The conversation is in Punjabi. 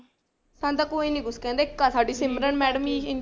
ਸਾਨੂੰ ਤਾਂ ਕੋਈ ਨੀ ਕੁਛ ਕਹਿੰਦਾ ਇੱਕ ਆ ਸਾਡੀ ਸਿਮਰਨ madam ਹੀ